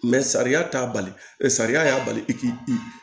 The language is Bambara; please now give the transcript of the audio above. sariya t'a bali ɛ sariya y'a bali k'i